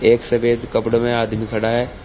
एक सफेद कपड़ो में आदमी खड़ा है।